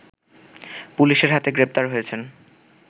পুলিশের হাতে গ্রেপ্তার হয়েছেন